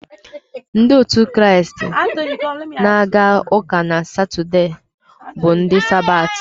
Ndị otu Kraịst na-aga uka na Satọde bụ ndị Sabati.